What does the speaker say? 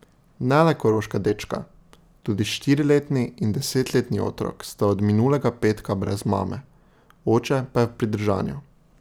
Ne le koroška dečka, tudi štiriletni in desetletni otrok sta od minulega petka brez mame, oče pa je v pridržanju.